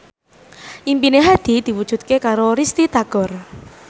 impine Hadi diwujudke karo Risty Tagor